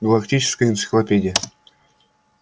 галактическая энциклопедия